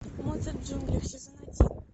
моцарт в джунглях сезон один